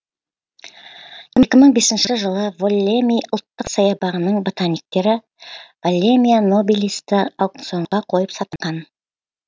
екі мың бесінші жылы воллеми ұлттық саябағының ботаниктері воллемия нобилисті аукционға қойып сатқан